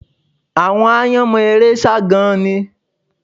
Àwọn aáyán mọ eré sá gan-an ni